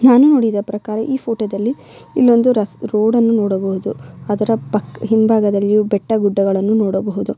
ನಾನು ನೋಡಿದ ಪ್ರಕಾರ ಈ ಫೋಟೋ ದಲ್ಲಿ ಇಲ್ಲಿ ಒಂದು ರಸ್ ರೋಡ್ ಅನ್ನು ನೋಡಬಹುದು ಅದರ‌ ಪಕ್ ಹಿಂಭಾಗದಲ್ಲಿಯೂ ಬೆಟ್ಟ ಗುಡ್ಡಗಳನ್ನು ನೋಡಬಹುದು .